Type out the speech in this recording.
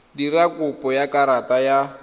dira kopo ya karata ya